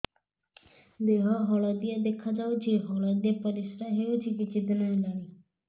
ଦେହ ହଳଦିଆ ଦେଖାଯାଉଛି ହଳଦିଆ ପରିଶ୍ରା ହେଉଛି କିଛିଦିନ ହେଲାଣି